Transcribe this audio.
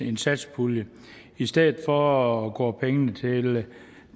en satspulje i stedet for går pengene til